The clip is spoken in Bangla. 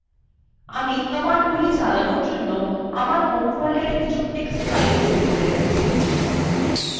আমি কমান্ডগুলি চালানোর জন্য আমার home ফোল্ডারে কিছু text files তৈরী করে রেখেছি